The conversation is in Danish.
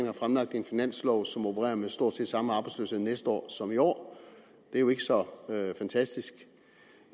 har fremlagt en finanslov som opererer med stort set samme arbejdsløshed næste år som i år det er jo ikke så fantastisk